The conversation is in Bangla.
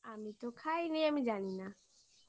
আমি তো খাইনি আমি জানি না